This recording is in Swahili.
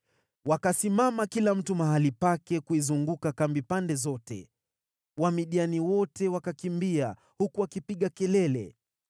Wakasimama kila mtu mahali pake kuizunguka kambi pande zote, Wamidiani wote wakakimbia, huku wakipiga kelele.